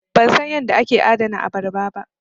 Ban san yadda ake adana abarba ba.